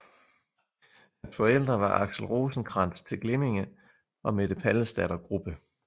Hans forældre var Axel Rosenkrantz til Glimminge og Mette Pallesdatter Grubbe